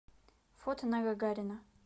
фото на гагарина